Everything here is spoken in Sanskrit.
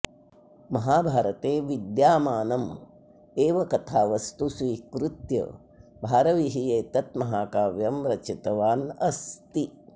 महाभारते विद्यामानम् एव कथावस्तु स्वीकृत्य भारविः एतत् महाकाव्यं रचितवान् अस्ति